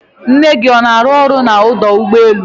nne gị ọ na-arụ ọrụ n'ọdọ ụgbọelu?